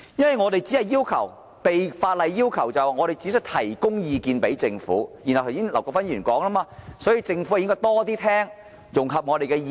因為我們只是被法例要求向政府提供意見，因此正如劉國勳議員所說般，政府便應多聽取和融合我們的意見。